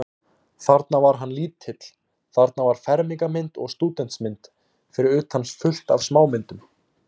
Þarna var hann lítill, þarna var fermingarmynd og stúdentsmynd, fyrir utan fullt af smámyndum.